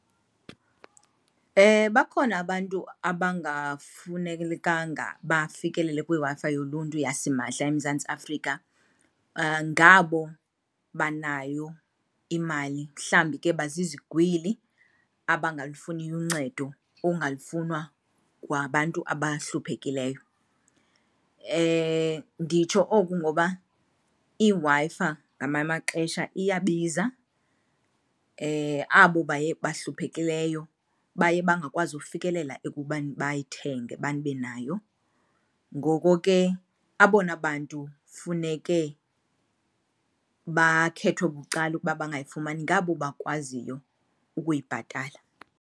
Bakhona abantu abangafanelekanga bafikelele kwiWi-Fi yoluntu yasimahla eMzantsi Afrika. Ngabo banayo imali mhlawumbi ke bazizigwili abangalufuniyo uncedo, abahluphekileyo. Nditsho oku ngoba iWi-Fi ngamanye amaxesha iyabiza, abo baye bahluphekileyo baye bangakwazi ufikelela ekubeni bayithenge babe nayo. Ngoko ke abona bantu funeke bakhethwe bucala ukuba bangayifumani ngabo bakwaziyo ukuyibhatala.